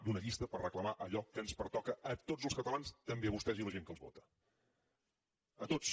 d’una llista per reclamar allò que ens pertoca a tots els catalans també a vostès i la gent que els vota a tots